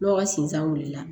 Lɔgɔ sinzan wuli la